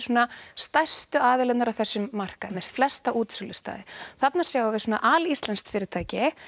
stærstu aðilarnir á þessum markaði með flesta útsölustaði þarna sjáum við alíslenskt fyrirtæki